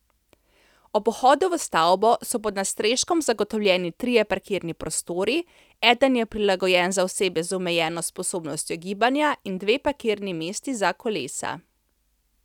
Ob vhodu v stavbo so pod nadstreškom zagotovljeni trije parkirni prostori, eden je prilagojen za osebe z omejeno sposobnostjo gibanja, in dve parkirni mesti za kolesa.